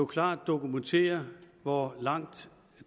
klart dokumenterer hvor langt